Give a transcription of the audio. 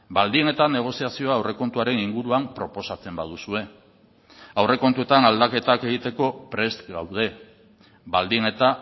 baldin eta negoziazio aurrekontuaren inguruan proposatzen baduzue aurrekontuetan aldaketak egiteko prest gaude baldin eta